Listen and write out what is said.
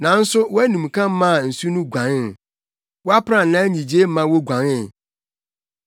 Nanso wʼanimka maa nsu no guanee, wʼaprannaa nnyigyei maa woguanee;